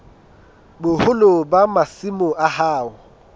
boholo ba masimo a hao